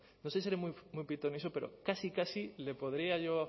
no sé si seré muy pitoniso pero casi casi le podría yo